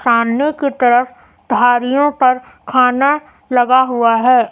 सामने की तरफ धारीयो पर खाना लगा हुआ है।